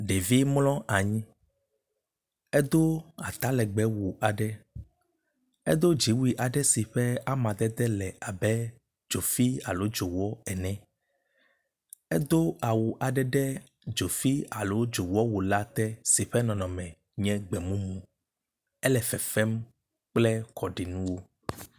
Ɖevi mlɔ anyi edo atalegbewu aɖe. Edo dziwu si ƒe amadede le abe dzofi alo dzowɔ ene. Edo awu aɖe ɖe dzofi aɖo dzowɔ wu la te si ƒe nɔnɔme nye gbemumu. Ele fefem kple kɔɖinuwo.